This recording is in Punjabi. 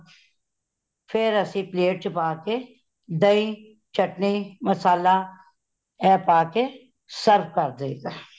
ਫੇਰ ਅਸੀ plate ਚ ਪਾਕੇ , ਦਹੀਂ, ਚਟਨੀ, ਮਸਾਲਾ ਇਹ ਪਾਕੇ serve ਕਰ ਦੇਈ ਦਾ